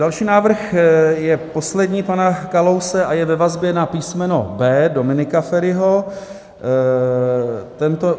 Další návrh je poslední pana Kalouse a je ve vazbě na písmeno B Dominika Feriho.